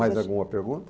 Mais alguma pergunta?